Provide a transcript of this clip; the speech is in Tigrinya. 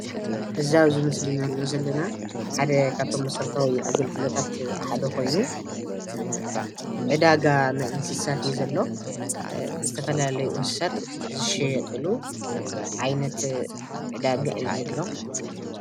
እዚ ኣብ ዚ ምስሊ ንሪኦ ዘለና ሓደ ካብቶም መሰረታዊ ኣገልግሎታት ሓደ ኾይኑ ዕዳጋ ናይ እንስሳት እዩ ዘሎ፡፡ ዝተፈላለዩ እንስሳት ዝሽየጥሉ ዓይነት ዕዳጋ እዩ ዘሎ፡፡